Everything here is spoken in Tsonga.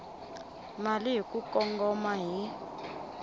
mali hi ku kongoma hi